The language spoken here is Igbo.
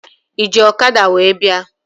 Ị ji ọkada wee bịa?